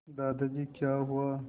दादाजी क्या हुआ